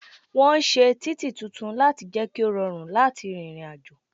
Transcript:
Wọn ṣe títì tuntun láti jẹ ki ó rọrùn láti rìnrìn àjò